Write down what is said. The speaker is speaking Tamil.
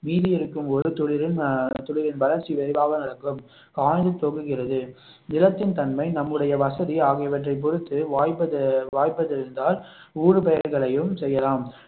மீதி இருக்கும் ஒரு துளிரில் ஆஹ் துளிரின் வளர்ச்சி விரைவாக நடக்கும் காய்ந்து தொங்குகிறது நிலத்தின் தன்மை நம்முடைய வசதி ஆகியவற்றைப் பொறுத்து வாய்ப்பு வாய்ப்பு இருந்தால் ஊடுபயிர்களையும் செய்யலாம்